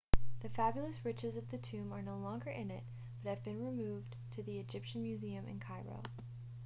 the fabulous riches of the tomb are no longer in it but have been removed to the egyptian museum in cairo